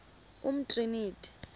umtriniti